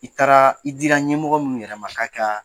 I taara i dira ɲɛmɔgɔ minnuw yɛrɛma ka ka.